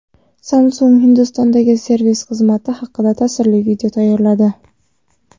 Samsung Hindistondagi servis xizmati haqida ta’sirli video tayyorladi.